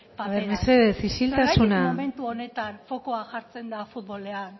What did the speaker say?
paperaz ere mesedez isiltasuna zergatik momentu honetan fokua jartzen da futbolean